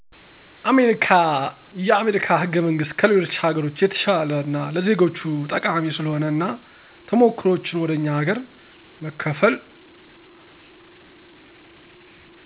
አሜሪካ የአሜሪካ ህገመንግስት ከሌሎች ሀገሮች የተሸለ እና ለዜጎች ጠቃሚ ስለሆነ እና ተሞክሮዎችን ወደ እኛ ሀገር መከፈል